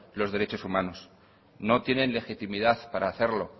los derechos humanos no tienen legitimidad para hacerlo